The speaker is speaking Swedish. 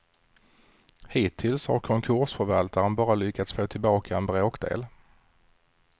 Hittills har konkursförvaltaren bara lyckats få tillbaka en bråkdel.